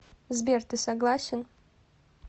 сбер ты согласен